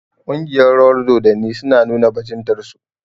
Ƙungiyar rawar dodanni su na nuna bajintar su